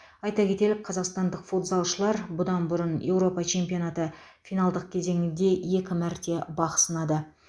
айта кетелік қазақстандық футзалшылар бұдан бұрын еуропа чемпионаты финалдық кезеңінде екі мәрте бақ сынады